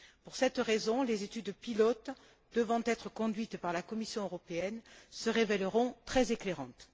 Pour cette raison, les études pilotes devant être conduites par la Commission européenne se révèleront très éclairantes.